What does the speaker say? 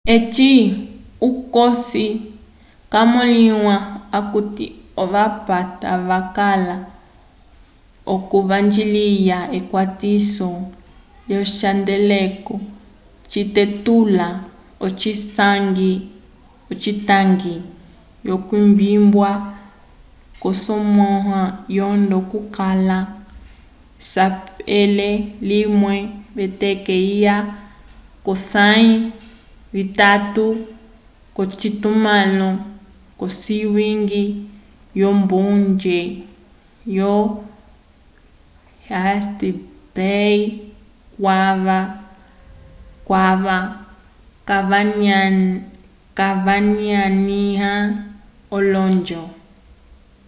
eci cosi camõliwa okuti ovapata vakala l'okuvanjiliya ekwatiso lyocihandeleko citetulula ocitangi c'okwimbiwa k'osamwa yondo kwakala esapelo limwe v'eteke lya 20 k'osãyi yatatu k'ocitumãlo c'owiñgi wombonge yo east bay kwava vanyanĩwa olonjo